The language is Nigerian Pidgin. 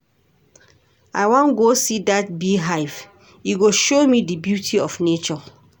I wan go see dat bee hive e go show me di beauty of nature.